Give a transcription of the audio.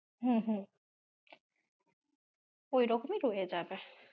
হুম হুম, ওইরকমই রয়ে যাবে।